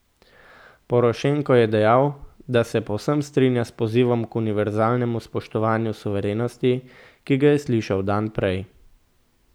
Porošenko je dejal, da se povsem strinja s pozivom k univerzalnemu spoštovanju suverenosti, ki ga je slišal dan prej.